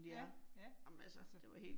Ja ja, så